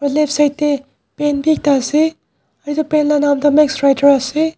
aro left side tae pen bi ekta ase edu pen la nam tu maxwriter ase.